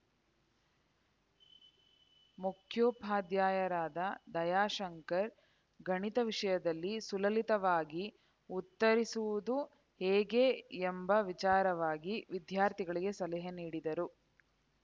ಮುಖ್ಯೋಪಾಧ್ಯಯರಾದ ದಯಾಶಂಕರ್ ಗಣಿತ ವಿಷಯದಲ್ಲಿ ಸುಲಲಿತವಾಗಿ ಉತ್ತರಿಸುವುದು ಹೇಗೆ ಎಂಬ ವಿಚಾರವಾಗಿ ವಿದ್ಯಾರ್ಥಿಗಳಿಗೆ ಸಲಹೆ ನೀಡಿದರು